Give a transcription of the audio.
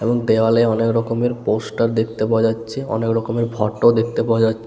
এবং দেওয়ালে অনেক রকমের পোস্টার দেখতে পাওয়া যাচ্ছে অনেক রকমের ফটো দেখতে পাওয়া যা--